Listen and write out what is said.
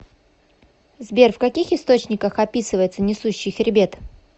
сбер в каких источниках описывается несущий хребет